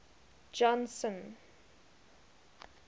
johnson